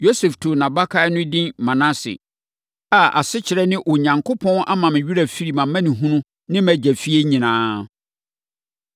Yosef too nʼabakan no edin Manase, a asekyerɛ ne Onyankopɔn ama me werɛ afiri mʼamanehunu ne mʼagya fie nyinaa.